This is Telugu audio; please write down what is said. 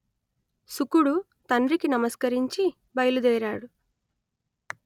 శుకుడు తండ్రికి నమస్కరించి బయలుదేరాడు